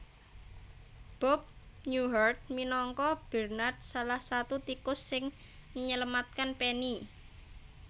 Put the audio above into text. Bob Newhart minangka Bernard salah satu tikus sing menyelamatkan Penny